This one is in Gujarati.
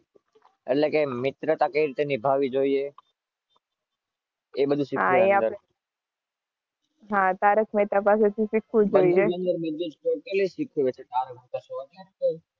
એટલે કે